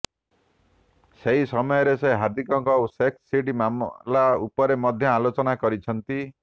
ସେହି ସମୟରେ ସେ ହାର୍ଦ୍ଦିକଙ୍କ ସେକ୍ସ ସିଡି ମାମଲା ଉପରେ ମଧ୍ୟ ଆଲୋଚନା କରିଛନ୍ତି